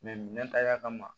minɛn ta y'a kama